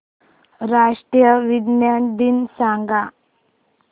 राष्ट्रीय विज्ञान दिन सांगा